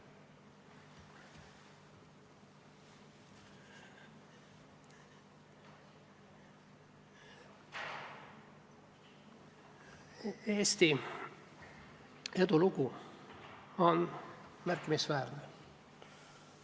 Eesti edulugu on märkimisväärne.